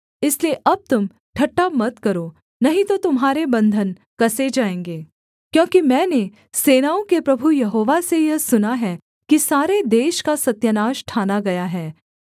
इसलिए अब तुम ठट्ठा मत करो नहीं तो तुम्हारे बन्धन कसे जाएँगे क्योंकि मैंने सेनाओं के प्रभु यहोवा से यह सुना है कि सारे देश का सत्यानाश ठाना गया है